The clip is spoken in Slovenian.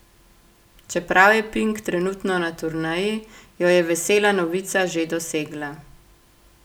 Čeprav je Pink trenutno na turneji, jo je vesela novica že dosegla.